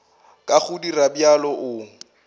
ka go dira bjalo o